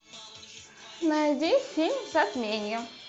найди фильм затмение